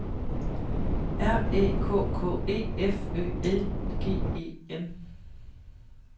R Æ K K E F Ø L G E N